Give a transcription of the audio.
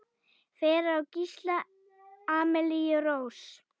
Fyrir á Gísli Amelíu Rós.